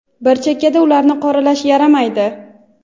bir chekkada ularni qoralash yaramaydi.